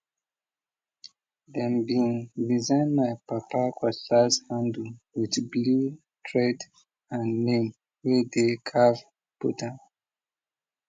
dem bin design my papa cutlass handle with blue thread and name way dey carve put am